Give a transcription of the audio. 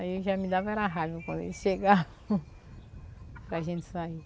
Aí eu já me dava raiva quando eles chegavam para a gente sair.